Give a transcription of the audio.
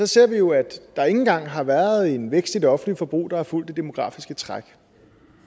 ser vi jo at der ikke engang har været en vækst i det offentlige forbrug der har fulgt det demografiske træk